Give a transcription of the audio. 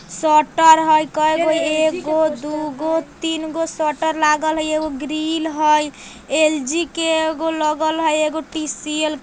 स्वेटर हई कैगो एगो दूगो तीन गो स्वेटर लागल हई एगो ग्रील हई ऊपर एल.जी. के एगो लगल हई एगो टी.सी.एल. --